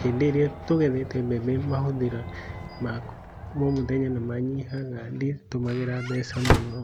hĩndĩ ĩríĩa tũgethete mbembe mahũthĩro maku ma omũthenya nĩ manyihaga nditũmagĩra mbeca mũno.